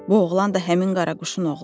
Bu oğlan da həmin qaraquşun oğludur.